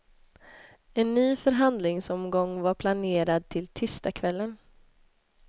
En ny förhandlingsomgång var planerad till tisdagskvällen.